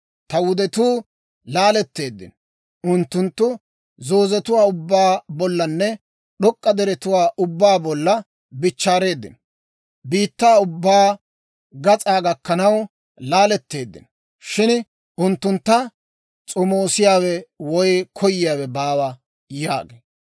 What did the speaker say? Ta wudetuu laaletteeddino; unttunttu zoozetuwaa ubbaa bollanne d'ok'k'a deretuwaa ubbaa bolla bichchaareedino. Biittaa ubbaa gas'aa gakkanaw laaletteeddino; shin unttuntta s'omoosiyaawe woy koyiyaawe baawa» yaagee.